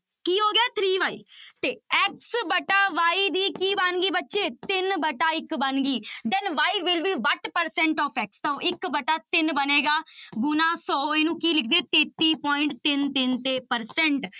ਕੀ ਹੋ ਗਿਆ three y ਤੇ x ਵਟਾ y ਦੀ ਕੀ ਬਣ ਗਈ ਬੱਚੇ ਤਿੰਨ ਵਟਾ ਇੱਕ ਬਣ ਗਈ then y will be ਬਾਹਠ percent of x ਤੋ ਇੱਕ ਵਟਾ ਤਿੰਨ ਬਣੇਗਾ ਗੁਣਾ ਸੌ ਇਹਨੂੰ ਕੀ ਲਿਖਦੇ ਤੇਤੀ point ਤਿੰਨ ਤਿੰਨ ਤੇ percent